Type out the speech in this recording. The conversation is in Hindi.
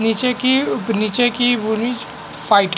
नीचे की ऊप नीचे की साइड --